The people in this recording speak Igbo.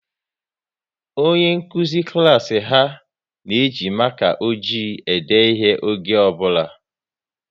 Onye nkụzi klas ha na-eji maka ojii ede ihe oge ọ bụla